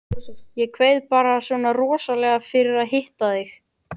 Ég kveið bara svona rosalega fyrir að hitta þig.